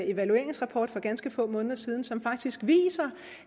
evalueringsrapport for ganske få måneder siden som faktisk viser